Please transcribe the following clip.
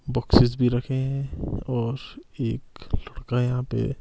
boxes भी रखें है और एक लड़का यहां पे--